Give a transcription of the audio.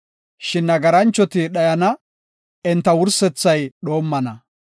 Shin nagaranchoti dhayana; enta wursethay dhoommana.